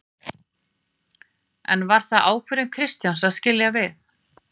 En var það ákvörðun Kristjáns að skilja við?